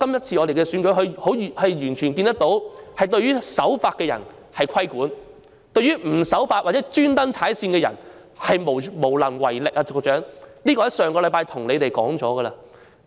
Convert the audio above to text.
從區議會選舉可見，政府對於守法的人便規管，但對於不守法或故意踩界的人，是無能為力，這一點我在上星期已經提出了。